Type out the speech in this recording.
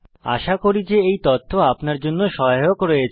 আশা করছি যে এই তথ্য আপনার জন্য সহায়ক রয়েছে